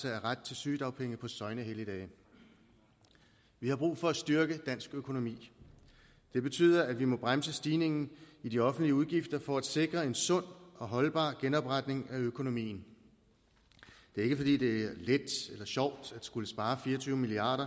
af ret til sygedagpenge på søgnehelligdage vi har brug for at styrke dansk økonomi det betyder at vi må bremse stigningen i de offentlige udgifter for at sikre en sund og holdbar genopretning af økonomien det er ikke fordi det er let eller sjovt at skulle spare fire og tyve milliard